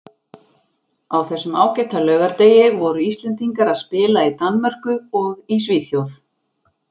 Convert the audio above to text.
Á þessum ágæta laugardegi voru Íslendingar að spila í Danmörku og í Svíþjóð.